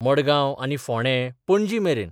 मडगांव आनी फोंडें, पणजीमेरेन...